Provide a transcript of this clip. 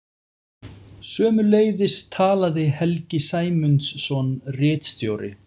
Sömuleiðis talaði Helgi Sæmundsson ritstjóri.